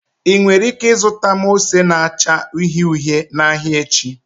Ị nwere ike zụta m ose na-acha uhie uhie n'ahịa echi?